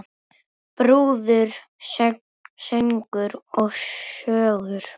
Brúður, söngur og sögur.